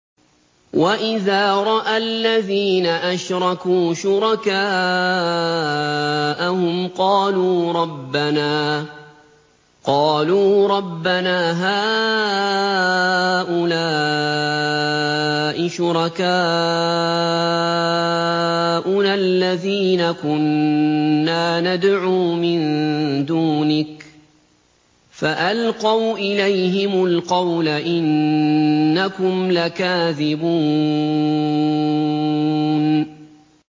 وَإِذَا رَأَى الَّذِينَ أَشْرَكُوا شُرَكَاءَهُمْ قَالُوا رَبَّنَا هَٰؤُلَاءِ شُرَكَاؤُنَا الَّذِينَ كُنَّا نَدْعُو مِن دُونِكَ ۖ فَأَلْقَوْا إِلَيْهِمُ الْقَوْلَ إِنَّكُمْ لَكَاذِبُونَ